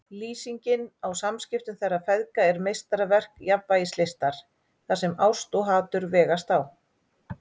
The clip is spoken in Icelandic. Lýsingin á samskiptum þeirra feðga er meistaraverk jafnvægislistar þar sem ást og hatur vegast á.